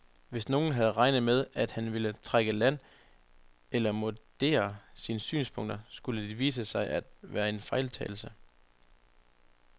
Hvis nogen havde regnet med, at han ville trække i land eller moderere sine synspunkter, skulle det vise sig at være en fejltagelse.